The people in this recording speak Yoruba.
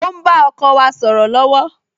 O ń bá ọkọ wa sọ̀rọ̀ lọ́wọ́